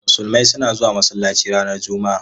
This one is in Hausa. Musulmai suna zuwa masallaci ranar Juma'a.